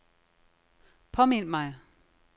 påmind mig